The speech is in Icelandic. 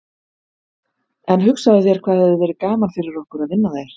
En hugsaðu þér hvað hefði verið gaman fyrir okkur að vinna þær.